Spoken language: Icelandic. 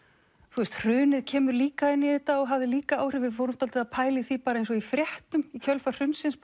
þú veist hrunið kemur líka inn í þetta og hafði líka áhrif við fórum að pæla í því eins og í fréttum í kjölfar hrunsins